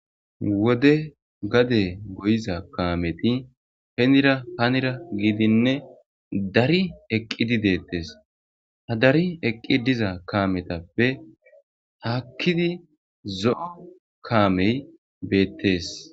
wode gade goyiza kaameti henira hanira giidinne dari eqqidi deettes hadari eqqi diza kaametappe haakkidi zo7o kaamey beettes